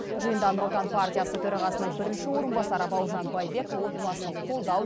жиында нұр отан партиясы төрағасының бірінші орынбасары бауыржан байбек отбасын қолдау